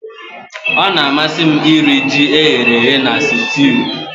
Ọ na-amasị m iri ji eghere eghe na sutiu